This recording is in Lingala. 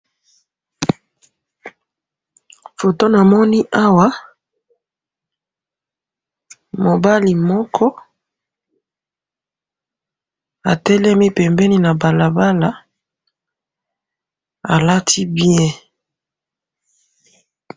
Photo namoni Awa. Mobali Moko atelemi pembeni na balabala. Alati bien.